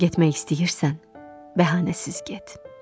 Getmək istəyirsən, bəhanəsiz get.